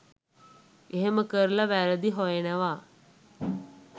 එහෙම කරලා වැරදි හොයනවා